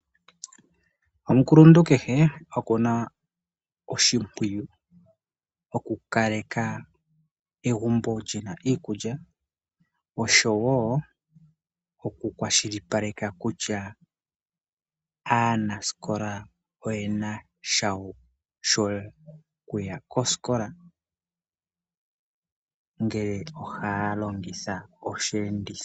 Omukuluntu kehe okuna oshipwiyu oku kaleka egumbo lyina iikulya osho wo oku kwashilipaleka kutya aanasikola oyena shawo shokuya koskola ngele oha longitha oshenditho.